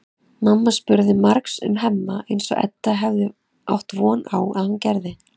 Mamma spurði margs um Hemma eins og Edda hafði átt von á að hún gerði.